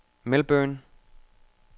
Melbourne